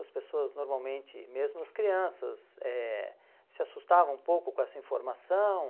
As pessoas normalmente, mesmo as crianças, eh se assustavam um pouco com essa informação.